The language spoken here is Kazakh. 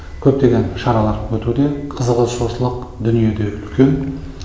көптеген шара өтуде қызығушылық дүниеде үлкен